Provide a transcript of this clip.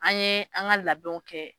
An ye an ka labɛnw kɛ